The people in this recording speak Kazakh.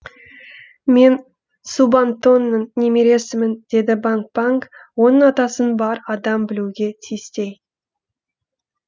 мен субантоның немересімін деді банг банг оның атасын бар адам білуге тиістей